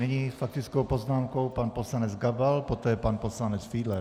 Nyní s faktickou poznámkou pan poslanec Gabal, poté pan poslanec Fiedler.